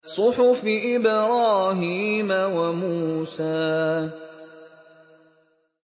صُحُفِ إِبْرَاهِيمَ وَمُوسَىٰ